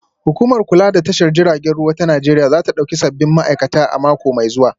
Hukumar kula da tashar jiragen ruwa ta Najeriya za ta dauki sabbin ma'aikata a mako mai zuwa